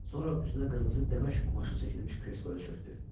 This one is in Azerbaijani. Sonra üzünə qırmızı daməşq qumaşı çəkilmiş kresloya çökdü.